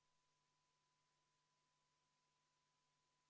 Komisjoni liikmed kontrollivad siinsamas teie ees hääletamiskaste ja sulgevad need turvaplommidega.